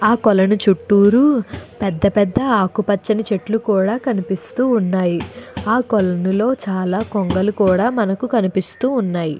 ఆ కొలను చుట్టూరూ పెద్ద పెద్ద ఆకుపచ్చని చెట్లు కూడా కనిపిస్తూ ఉన్నాయి. ఆ కొలనులో చాలా కొంగలు కూడా మనకు కనిపిస్తూ ఉన్నాయి.